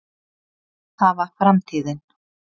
það var framtíðin.